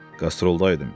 Qastrolda idim.